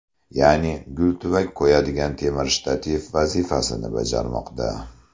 Ya’ni, gul tuvak qo‘yadigan temir shtativ vazifasini bajarmoqda.